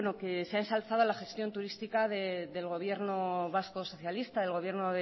que se ha ensalzado la gestión turística del gobierno vasco socialista el gobierno